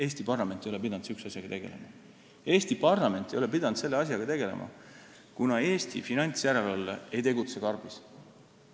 Eesti parlament ei ole pidanud sellise asjaga tegelema, kuna Eesti finantsjärelevalve ei tegutse karbis.